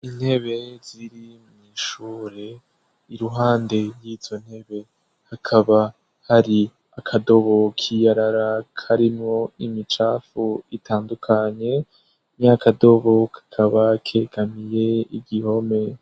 Intebe ziri mw'ishure. Iruhande y'izo ntebe hakaba hari akadobo k'iyarara karimwo imicafu itandukanye. Nya kadobo kakaba kegamiye igihome.